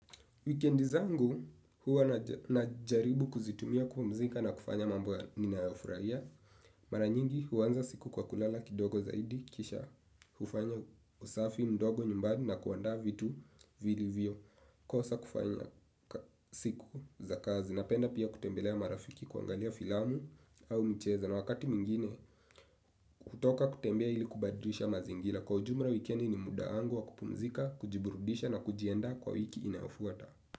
Wikendi zangu huwa najaribu kuzitumia kupumzika na kufanya mambo ya ninayoyafurahia. Mara nyingi huanza siku kwa kulala kidogo zaidi kisha hufanya usafi mdogo nyumbani na kuandaa vitu vilivyo kosa kufanya siku za kazi na penda pia kutembelea marafiki kuangalia filamu au mcheza na wakati mwingine kutoka kutembea ili kubadilisha mazingira. Kwa ujumla wikendi ni muda wangu wa kupumzika, kujiburudisha na kujiandaa kwa wiki inayofuata.